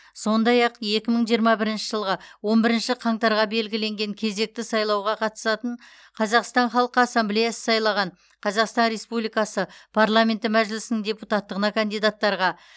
сондай ақ екі мың жиырма бірінші жылғы он бірінші қаңтарға белгіленген кезекті сайлауға қатысатын қазақстан халқы ассамблеясы сайлаған қазақстан республикасы парламенті мәжілісінің депутаттығына кандидаттарға